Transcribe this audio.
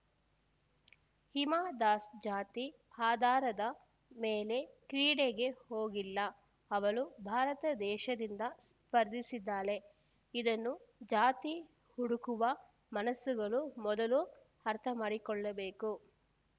ಹಿಮಾ ದಾಸ್‌ ಜಾತಿ ಆದಾರದ ಮೇಲೆ ಕ್ರೀಡೆಗೆ ಹೋಗಿಲ್ಲ ಅವಳು ಭಾರತ ದೇಶದಿಂದ ಸ್ಪರ್ಧಿಸಿದ್ದಾಳೆ ಇದನ್ನು ಜಾತಿ ಹುಡುಕುವ ಮನಸ್ಸುಗಳು ಮೊದಲು ಅರ್ಥಮಾಡಿಕೊಳ್ಳಬೇಕು